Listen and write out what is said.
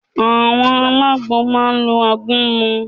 Àwọn alágbo máa lo àgúnmu